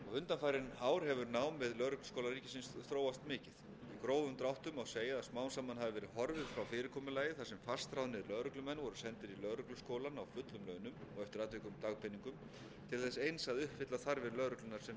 ár hefur nám við lögregluskóla ríkisins þróast mikið í grófum dráttum má segja að smám saman hafi verið horfið frá fyrirkomulagi þar sem fastráðnir lögreglumenn voru sendir í lögregluskólann á fullum launum til þess eins að uppfylla þarfir lögreglunnar sem vinnuveitanda til að efla starfsmenn sína